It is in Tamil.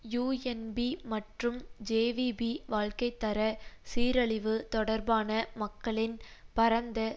யூஎன்பி மற்றும் ஜேவிபி வாழ்க்கை தர சீரழிவு தொடர்பான மக்களின் பரந்த